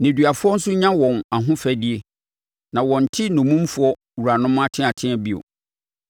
Nneduafoɔ nso nya wɔn ahofadie; na wɔnte nnommumfoɔ wuranom ateatea bio.